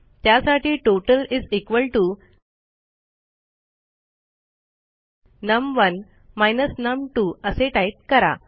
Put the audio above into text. त्यासाठी टोटल नम1 नम2 असे टाईप करा